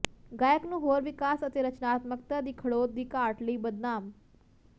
ਗਾਇਕ ਨੂੰ ਹੋਰ ਵਿਕਾਸ ਅਤੇ ਰਚਨਾਤਮਕਤਾ ਦੀ ਖੜੋਤ ਦੀ ਘਾਟ ਲਈ ਬਦਨਾਮ